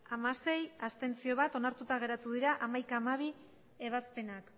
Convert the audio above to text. hamasei ez bat abstentzio onartuta geratu dira hamaikagarrena eta hamabigarrena ebazpenak